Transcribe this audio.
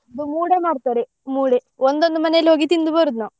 ನಮ್ಗೆ ಮೂಡೆ ಮಾಡ್ತಾರೆ ಮೂಡೆ ಒಂದೊಂದು ಮನೆಗೆ ಹೋಗಿ ತಿಂದು ಬರುದು ನಾವು.